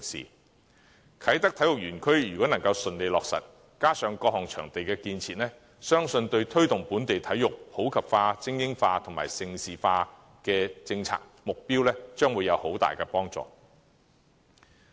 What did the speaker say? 如果啟德體育園能夠順利落成，加上各項場地建設，相信對推動本地體育普及化、精英化及盛事化的政策目標，將會有很大幫助。